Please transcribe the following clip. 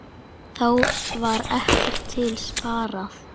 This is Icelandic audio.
Þá var ekkert til sparað.